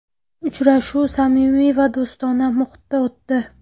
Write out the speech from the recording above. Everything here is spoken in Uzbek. Uchrashuv samimiy va do‘stona muhitda o‘tdi.